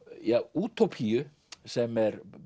útópíu sem er